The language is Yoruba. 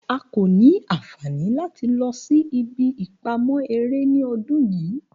A ko ni anfani lati lọ si ibi ipamọ ere ni ọdun yii